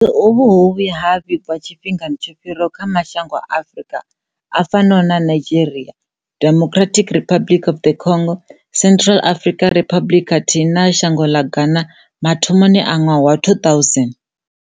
Vhulwadze uvhu ho vhuya ha vhigwa tshifhingani tsho fhiraho kha mashango a Afrika a fanaho na Nigeria, Democratic Republic of the Congo, Central African Republic khathihi na shango ḽa Ghana mathomoni a ṅwaha wa 2000.